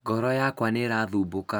ngoro yakwa nĩĩrathumbũka